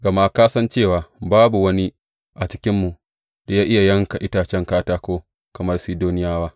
Gama ka san cewa babu wani a cikinmu da ya iya yanka itacen katako kamar Sidoniyawa.